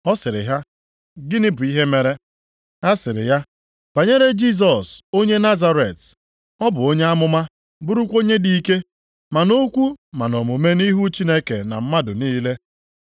Ọ sịrị ha, “Gịnị bụ ihe mere?” Ha sịrị ya, “Banyere Jisọs onye Nazaret! Ọ bụ onye amụma bụrụkwa onye dị ike, ma nʼokwu ma nʼomume nʼihu Chineke na mmadụ niile.